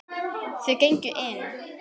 Þau gengu inn.